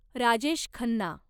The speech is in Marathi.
राजेश खन्ना